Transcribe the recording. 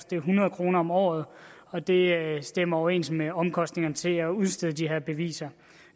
det er hundrede kroner om året og det stemmer overens med omkostningerne til at udstede de her beviser